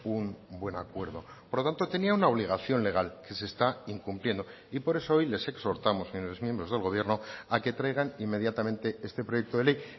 un buen acuerdo por lo tanto tenía una obligación legal que se está incumpliendo y por eso hoy les exhortamos señores miembros del gobierno a que traigan inmediatamente este proyecto de ley